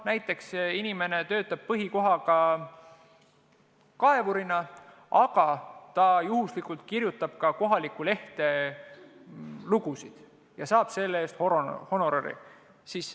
Inimene võib töötada põhikohaga näiteks kaevurina, aga juhuslikult kirjutada ka kohalikku lehte lugusid ja saada selle eest honorari.